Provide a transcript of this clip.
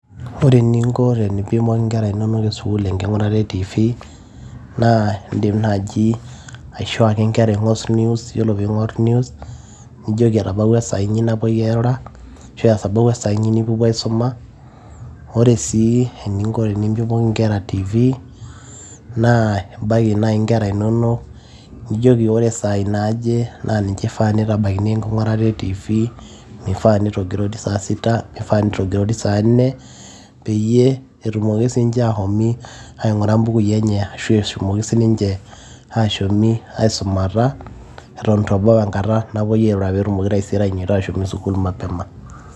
Ore eninko teneimpimuo nkera inonok tesuk enkingurata e tv naa indim naaji aisho ake nkera ingur news ,nijoki etabawua esaa inyi napoi airura arashu etabawua esaa isnyi nipopuo aisuma. Ore sii eninko peimpinoki nkera tv naa imbaki nai nkera inonok nijoki ore sai naaje na ninche ifaa peitabakini enkingurata e tv mifaa nitogiroiti saa sita ,mifaa nitogirori saa nne ,peyie etumoki sinche aitum aingura mbukui enye arashu etumoki sininche ashomi aisumata atan itu ebau enkata napoi airura peetumoki taisere ainyototo ashomoita sukul mapema .